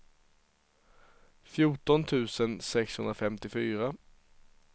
fjorton tusen sexhundrafemtiofyra